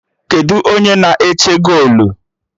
Kedụ u onye na-eche golu?